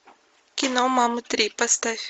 кино мамы три поставь